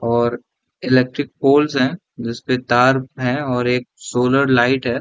और electric poles हैं जिसपे तार है और एक सोलर लाइट है।